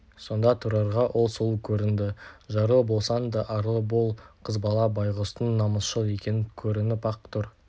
сонда тұрарға ол сұлу көрінді жарлы болсаң да арлы бол қызбала байғұстың намысшыл екені көрініп-ақ тұр